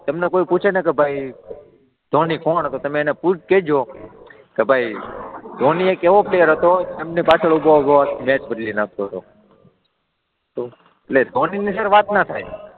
તમને કોઈ પૂછે ને કે ભાઈ ધોની કોણ હતો? તો તમે એને કેજો કે ભાઈ ધોની એક એવો પ્લેયર એવો હતો, સ્ટમ્પની પાછળ ઊભો ઊભો મેચ બદલી નાખતો હતો. તો, એટલે ધોનીની છે ને વાત ના થાય.